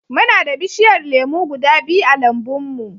Muna da bishiyar lemu guda biyu a lambun mu.